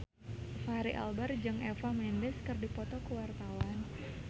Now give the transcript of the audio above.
Fachri Albar jeung Eva Mendes keur dipoto ku wartawan